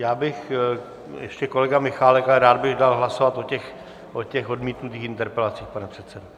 Já bych... ještě kolega Michálek, ale rád bych dal hlasovat o těch odmítnutých interpelacích, pane předsedo.